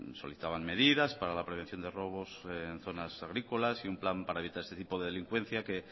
solicitaban medidas para la prevención de robos en zonas agrícolas y un plan para evitar este tipo de delincuencia que